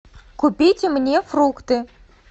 купите мне фрукты